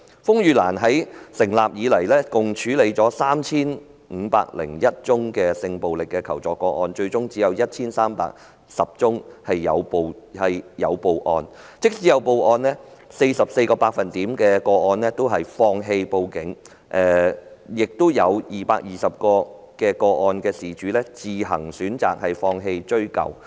風雨蘭自成立以來，曾處理共 3,501 宗性暴力求助個案，但最終只有 1,310 宗有向警方舉報，放棄報警的佔 44%， 而有220宗個案的當事人自行選擇放棄追究。